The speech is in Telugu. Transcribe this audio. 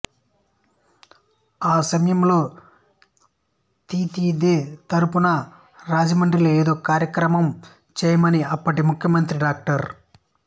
ఆ సమయంలో తితిదే తరపున రాజమండ్రిలో ఏదో ఒక కార్యక్రమం చేయమని అప్పటి ముఖ్యమంత్రి డా